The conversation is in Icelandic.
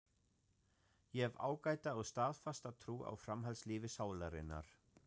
Ég hef ágæta og staðfasta trú á framhaldslífi sálarinnar.